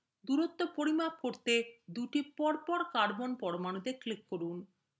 দূরত্ব পরিমাপ করতে দুইটি পরপর carbon পরমাণুতে click করুন